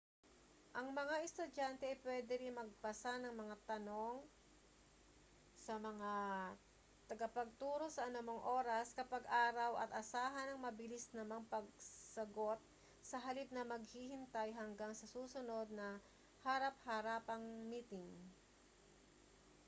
ang mga estudyante ay pwede ring magpasa ng mga tanong sa mga tagapagturo sa anumang oras kapag araw at asahan ang mabilis namang mga pagsagot sa halip na maghihintay hanggang sa susunod na harap-harapang miting